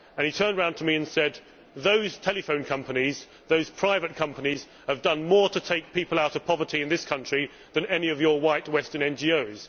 He turned to me and said Those telephone companies, those private companies, have done more to take people out of poverty in this country than any of your white, Western NGOs'.